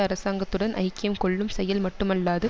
அரசாங்கத்துடன் ஐக்கியம் கொள்ளும் செயல் மட்டுமல்லாது